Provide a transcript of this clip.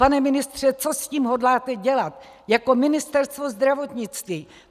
Pane ministře, co s tím hodláte dělat jako Ministerstvo zdravotnictví?